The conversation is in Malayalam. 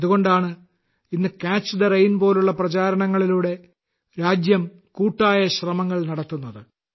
അതുകൊണ്ടാണ് ഇന്ന് കാച്ച് ദ റെയിൻ പോലുള്ള പ്രചാരണങ്ങളിലൂടെ രാജ്യം കൂട്ടായ ശ്രമങ്ങൾ നടത്തുന്നത്